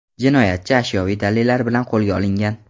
Jinoyatchi ashyoviy dalillar bilan qo‘lga olingan.